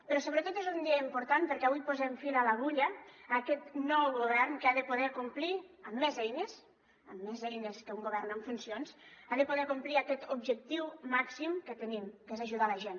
però sobretot és un dia important perquè avui posem fil a l’agulla a aquest nou govern que ha de poder complir amb més eines amb més eines que un govern en funcions ha de poder complir aquest objectiu màxim que tenim que és ajudar la gent